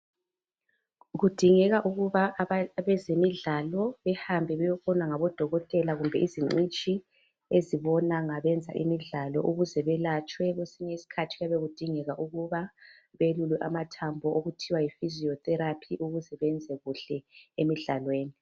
Kudingeka ukuba abantu abezemidlalo behambe beyebona ngabodokotela kumbe izingcitshi ezibona ngabezemidlalo ukuze beyelatshwe kwesinye isikhathi kuyabe kudingeka ukuba belule amathambo okubizwa kuthiwa yifiziyo theraphi ukuze benze kuhle emidlalweni.